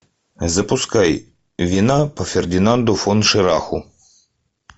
запускай вина по фердинанду фон шираху